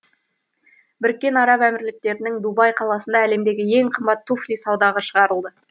біріккен араб әмірліктерінің дубай қаласында әлемдегі ең қымбат туфли саудаға шығарылды